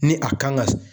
Ni a kan ka